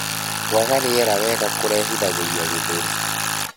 Kwaga rĩera wega kurehithagirĩa gĩthũri